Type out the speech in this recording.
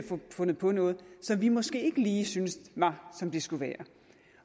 fundet på noget som vi måske ikke lige synes var som det skulle være